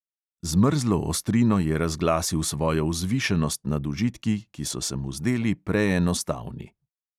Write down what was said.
Z mrzlo ostrino je razglasil svojo vzvišenost nad užitki, ki so se mu zdeli preenostavni.